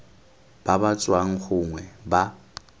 ba ba tswang gongwe ba